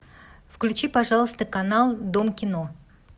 включи пожалуйста канал дом кино